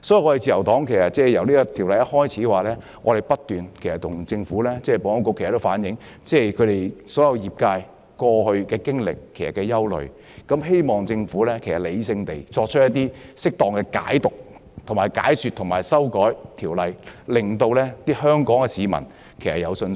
所以，自由黨在政府提出《條例草案》初期不斷向政府及保安局反映業界的經歷和憂慮，希望政府理性地作出適當解說和修訂，令香港市民對《條例草案》有信心。